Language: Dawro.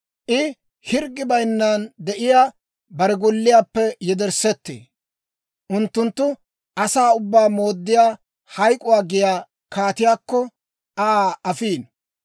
I hirggi bayinnan de'iyaa bare golliyaappe yedersseettee; unttunttu asaa ubbaa mooddiyaa Hayk'k'uwaa giyaa kaatiyaakko, Aa afiino.